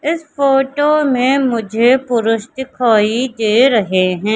इस फोटो में मुझे पुरुष दिखाई दे रहे है।